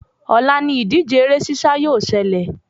Òla ni ìdíje eré sísá yóò selè